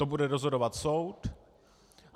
To bude rozhodovat soud.